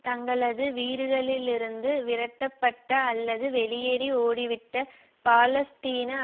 தங்களது வீடுகளிலிருந்து விரட்டப்பட்ட அல்லது வெளியேறி ஓடிவிட்ட பாலஸ்தீன